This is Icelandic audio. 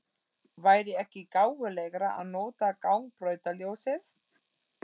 Væri ekki gáfulegra að nota gangbrautarljósið?